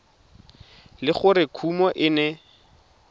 le gore kumo e ne